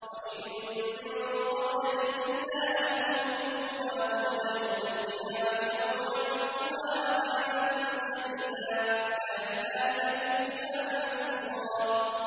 وَإِن مِّن قَرْيَةٍ إِلَّا نَحْنُ مُهْلِكُوهَا قَبْلَ يَوْمِ الْقِيَامَةِ أَوْ مُعَذِّبُوهَا عَذَابًا شَدِيدًا ۚ كَانَ ذَٰلِكَ فِي الْكِتَابِ مَسْطُورًا